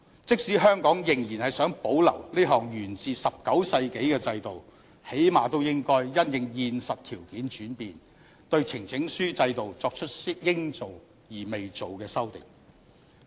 即使香港仍然想保留這項源自19世紀的制度，最低限度應該因應現實條件轉變，對呈請書制度作出應做而未做的修訂。